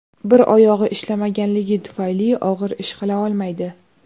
Bir oyog‘i ishlamaganligi tufayli og‘ir ish qila olmaydi.